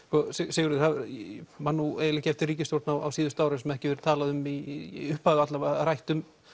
Sigurður ég man eiginlega ekki eftir ríkisstjórn á síðustu árum sem ekki hefur allavega í upphafi verið rætt um